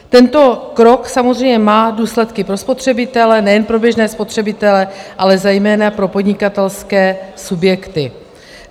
Tento krok samozřejmě má důsledky pro spotřebitele - nejen pro běžné spotřebitele, ale zejména pro podnikatelské subjekty.